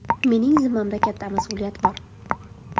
Mening zimmamda katta mas’uliyat bor.